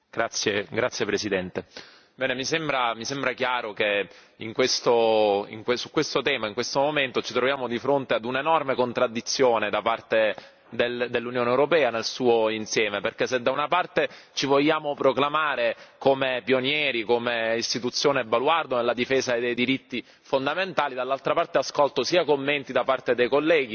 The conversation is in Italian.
Signora Presidente, onorevoli colleghi, mi sembra chiaro che su questo tema, in questo momento, ci troviamo di fronte ad un'enorme contraddizione da parte dell'Unione europea nel suo insieme, perché se da una parte ci vogliamo proclamare come pionieri, come istituzione baluardo nella difesa dei diritti fondamentali, dall'altra parte ascolto commenti da parte dei colleghi